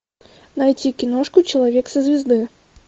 найти киношку человек со звезды